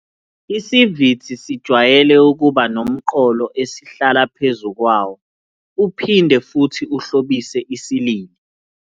Isivithi sijwayele ukuba nomqolo esihlala phezu kwawo, uphinde futhi uhlobise isilili.